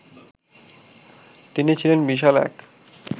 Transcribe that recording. তিনি ছিলেন বিশাল এক